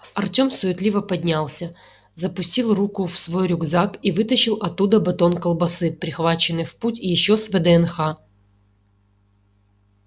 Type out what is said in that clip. артём суетливо поднялся запустил руку в свой рюкзак и вытащил оттуда батон колбасы прихваченный в путь ещё с вднх